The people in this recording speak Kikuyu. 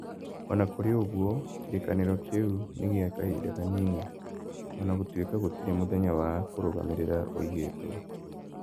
O na kũrĩ ũguo, kĩrĩkanĩro kĩu nĩ gĩa kahinda kanini (o na gũtuĩka gũtirĩ mũthenya wa kũrũgamĩrĩra uigĩtwo).